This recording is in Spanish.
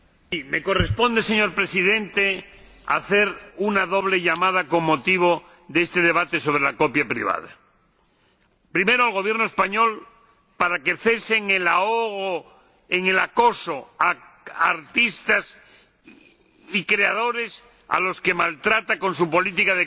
Señor Presidente, me corresponde hacer un doble llamamiento con motivo de este debate sobre la copia privada. Primero, al Gobierno español para que cese el ahogo, el acoso, a artistas y creadores, a los que maltrata con su política de copia privada